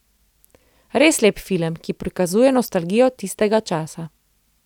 Res lep film, ki prikazuje nostalgijo tistega časa.